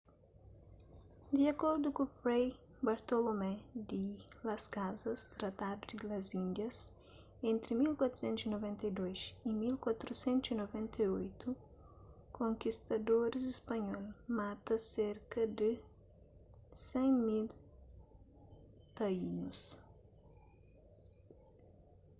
di akordu ku fray bartolomé di las casas tratado di las indias entri 1492 y 1498 konkistadoris spanhol mata serka di 100.000 taínus